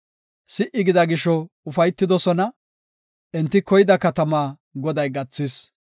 Si77i gida gisho ufaytidosona; enti koyida katamaa Goday gathis.